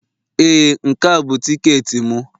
Ee, Nke a bụ tiketi m.